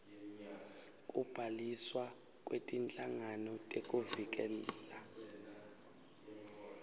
kubhaliswa kwetinhlangano tekuvikela